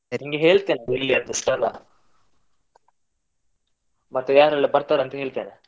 ನಿನ್ಗೆ ಹೇಳ್ತೇನೆ ಎಲ್ಲಿ ಅಂತ ಸ್ಥಳ. ಮತ್ತೆ ಯಾರೆಲ್ಲ ಬರ್ತಾರೆ ಅಂತ ಹೇಳ್ತೇನೆ.